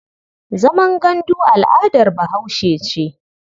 Zaman gandu al'adar Bahaushe ce.